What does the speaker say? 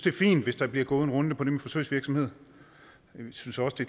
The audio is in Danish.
er fint hvis der bliver gået en runde til det med forsøgsvirksomhed men vi synes også det